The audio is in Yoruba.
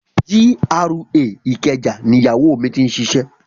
GRA ìkẹjà ni Ìyáwó mi ti ṣiṣẹ́.